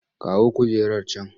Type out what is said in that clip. Kawo kujerar can!